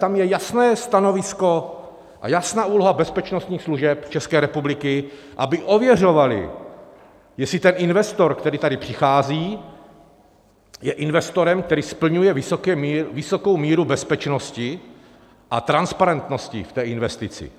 Tam je jasné stanovisko a jasná úloha bezpečnostních služeb České republiky, aby ověřovaly, jestli ten investor, který tady přichází, je investorem, který splňuje vysokou míru bezpečnosti a transparentnosti v té investici.